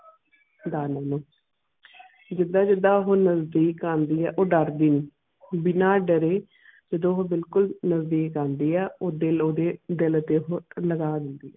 ਦਾਨਵ ਨੂੰ ਉਹ ਨਜ਼ਦੀਕ ਆਉਂਦੀ ਹੈ ਉਹ ਦਰਦੀ ਬਿਨਾ ਡਾਰੇ ਜਾਦੂ ਉਹ ਬਿਲਕੁਲ ਨਜ਼ਦੀਕ ਆਉਂਦੀ ਉਹ ਦਿਲ ਓਦੇ ਦਿਲ ਤੇ ਨਰਾਜ਼ ਹੋਂਦੀ.